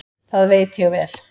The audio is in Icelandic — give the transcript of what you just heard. Það veit ég vel.